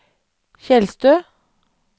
Tjeldstø